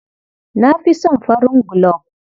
Na fi son farin gulob.